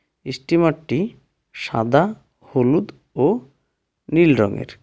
ইস্টিমারটি সাদা হলুদ ও নীল রঙের.